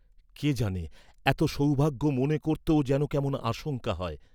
কে জানে এত সৌভাগ্য মনে করতেও যেন কেমন আশঙ্কা হয়।